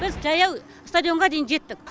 біз жаяу стадионға дейін жеттік